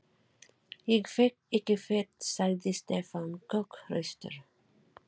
Ég fer ekki fet sagði Stefán kokhraustur.